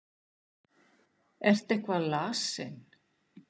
Ertu eitthvað lasinn?